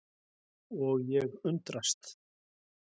Og ég undrast.